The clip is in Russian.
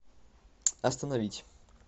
остановить